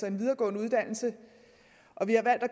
en videregående uddannelse og vi har valgt at